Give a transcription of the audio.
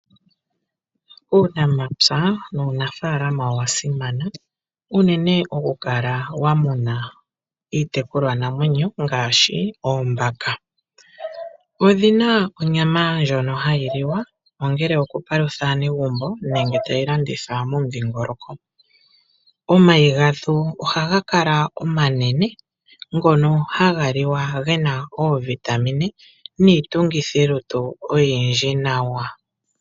Uunamapya nuunafalama owa simana unene okukala wa muna iitekulwanamwenyo ngaashi oombaka. Odhi na onyama ndjono hayi liwa, ongele okupalutha aanegumbo nenge tayi landithwa momudhingoloko. Omayi gadho ohaga kala omanene ngono haga liwa ge na oovitamine niitungithilutu oyindji nawa.